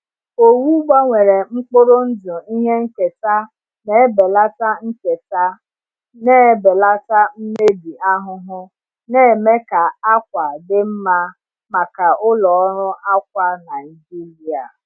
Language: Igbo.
Owu gbanwere mkpụrụ ndụ ihe nketa na-ebelata nketa na-ebelata mmebi ahụhụ, na-eme ka àkwà dị mma maka ụlọ ọrụ akwa Naijiria.